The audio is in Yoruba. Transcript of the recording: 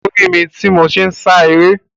O ri mi ti mo n sá eré.